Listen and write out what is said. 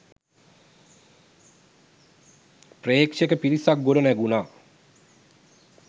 ප්‍රේක්ෂක පිරිසක් ගොඩනැගුනා.